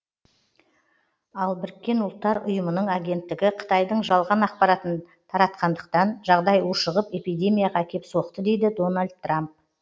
ал бұұ ның агенттігі қытайдың жалған ақпаратын таратқандықтан жағдай ушығып эпидемияға әкеп соқты дейді дональд трамп